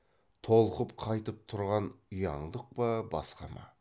толқып қайтып тұрған ұяңдық па басқа ма